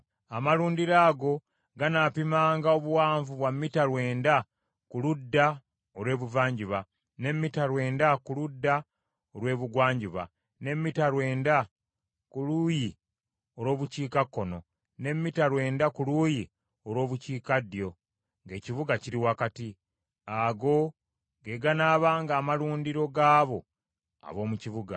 Amalundiro ago ganaapimanga obuwanvu bwa mita lwenda ku ludda olw’ebuvanjuba, ne mita lwenda ku ludda olw’ebugwanjuba, ne mita lwenda ku luuyi olw’obukiikakkono, ne mita lwenda ku luuyi olw’obukiikaddyo, ng’ekibuga kiri wakati. Ago ge ganaabanga amalundiro gaabo ab’omu kibuga.